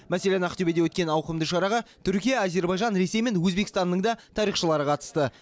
мәселен ақтөбеде өткен ауқымды шараға түркия әзербайжан ресей мен өзбекстанның да тарихшылары қатысты